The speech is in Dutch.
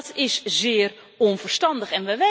Dat is zeer onverstandig.